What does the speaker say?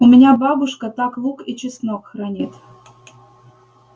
у меня бабушка так лук и чеснок хранит